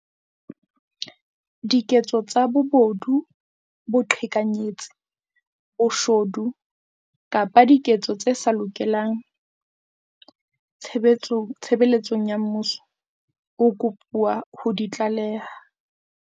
Diketso tsa bobodu, boqhekanyetsi, boshodu kapa diketso tse sa lokang tshebeletsong ya mmuso, o kopuwa ho di tlaleha.